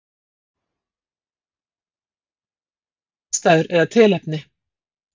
Rófan á köttum titrar við ýmsar aðstæður eða tilefni.